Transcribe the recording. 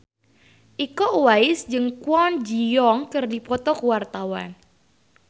Iko Uwais jeung Kwon Ji Yong keur dipoto ku wartawan